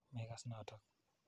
Makas notok.